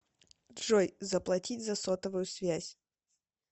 джой заплатить за сотовую связь